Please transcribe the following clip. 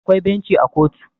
akwai benci a kotu